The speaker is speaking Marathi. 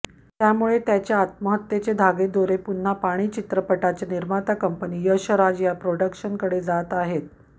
त्यामुळे त्याच्या आत्महत्येचे धागेदोरे पुन्हा पाणी चित्रपटाचे निर्माता कंपनी यश राज प्रोडक्शनकडे जात आहेत